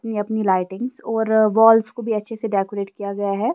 अपने राइटिंग्स और वॉल्स को भी अच्छे से डेकोरेट किया गया है।